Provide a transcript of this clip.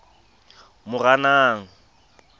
moranang